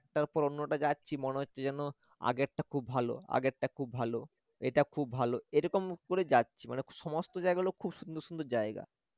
একটার পা অন্যটায় যাচ্ছি মনে হচ্ছে যেনো আগেরটা খুব ভালো আগেরটা খুব ভালো এটা খুব ভালো এরকম করে যাচ্ছি মানে সমস্ত জায়গাগুলো খুব সুন্দর সুন্দর জায়গা